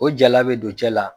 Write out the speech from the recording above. O jala bɛ don cɛ la